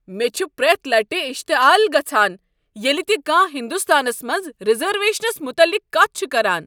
مےٚ چھ پرٛیتھ لٹہ اشتعال گژھان ییٚلہ تِہ کانٛہہ ہنٛدستانس منٛز ریزرویشنس متعلق کتھ چھ کران۔